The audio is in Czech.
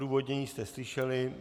Odůvodnění jste slyšeli.